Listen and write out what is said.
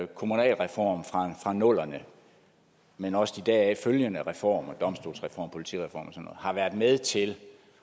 kommunalreform fra nullerne men også de deraf følgende reformer domstolsreformen politireformen og har været med til